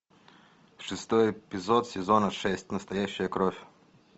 шестой эпизод сезона шесть настоящая кровь